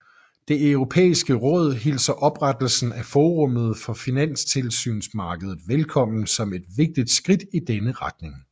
Det Europæiske Råd hilser oprettelsen af forummet for finansmarkedstilsyn velkommen som et vigtigt skridt i denne retning